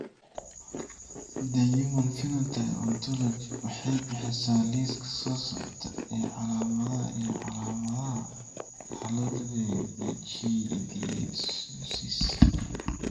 The Human Phenotype Ontology waxay bixisaa liiska soo socda ee calaamadaha iyo calaamadaha Harlequin ichthyosis.